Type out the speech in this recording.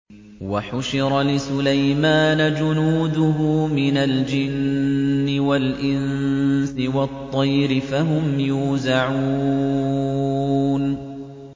وَحُشِرَ لِسُلَيْمَانَ جُنُودُهُ مِنَ الْجِنِّ وَالْإِنسِ وَالطَّيْرِ فَهُمْ يُوزَعُونَ